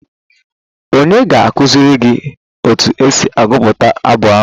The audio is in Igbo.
Ònye ga-akụziri gị otu esi agụpụta abụ ahụ?